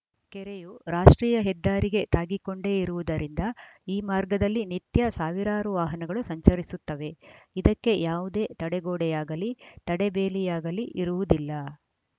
ಕೆರೆಯು ರಾಷ್ಟ್ರೀಯ ಹೆದ್ದಾರಿಗೆ ತಾಗಿಕೊಂಡೇ ಇರುವುದರಿಂದ ಈ ಮಾರ್ಗದಲ್ಲಿ ನಿತ್ಯ ಸಾವಿರಾರು ವಾಹನಗಳು ಸಂಚರಿಸುತ್ತವೆ ಇದಕ್ಕೆ ಯಾವುದೇ ತಡೆಗೋಡೆಯಾಗಲೀ ತಡೆಬೇಲಿಯಾಗಲೀ ಇರುವುದಿಲ್ಲ